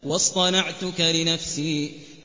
وَاصْطَنَعْتُكَ لِنَفْسِي